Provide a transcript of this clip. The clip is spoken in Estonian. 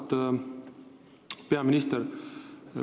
Auväärt peaminister!